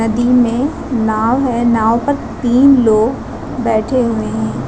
नदी में नाव है नाव पर तीन लोग बैठे हुए हैं।